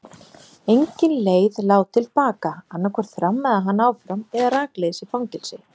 Engin leið lá til baka, annaðhvort þrammaði hann áfram eða rakleiðis í fangelsi.